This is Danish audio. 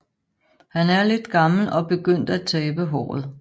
Han er lidt gammel og begyndt at tabe håret